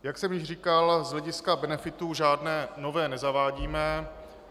Jak jsem již říkal, z hlediska benefitů žádné nové nezavádíme.